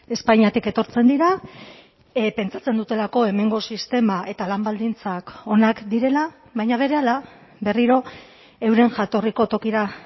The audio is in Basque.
espainiatik etortzen dira pentsatzen dutelako hemengo sistema eta lan baldintzak onak direla baina berehala berriro euren jatorriko tokira